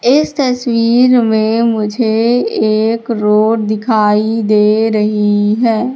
इस तस्वीर में मुझे एक रोड दिखाई दे रही हैं।